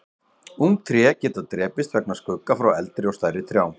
ung tré geta drepist vegna skugga frá eldri og stærri trjám